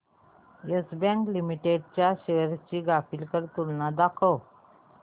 yes bank limited च्या shares ची graphical तुलना दाखव